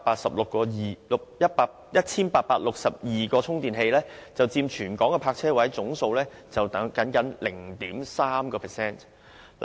此外，全港有 1,862 個充電器，僅佔全港泊車位總數 0.3%。